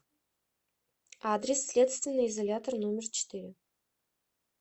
адрес следственный изолятор номер четыре